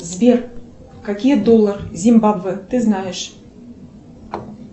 сбер какие доллар зимбабве ты знаешь